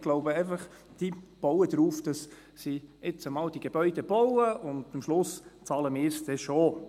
Ich glaube einfach, sie bauen darauf, dass sie jetzt diese Gebäude mal bauen und wir es am Schluss dann schon bezahlen.